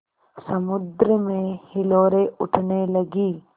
समुद्र में हिलोरें उठने लगीं